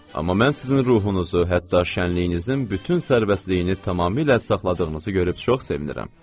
Amma mən sizin ruhunuzu, hətta şənliyinizin bütün sərbəstliyini tamamilə saxladığınızı görüb çox sevinirəm.